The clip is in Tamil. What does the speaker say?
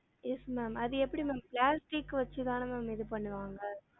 Yes ma'am அது எப்படி ma'am plastic வச்சுதான ma'am இது பண்ணுவாங்க